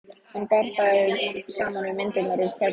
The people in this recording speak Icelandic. Hann bar þær saman við myndirnar úr kössunum.